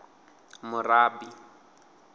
murabi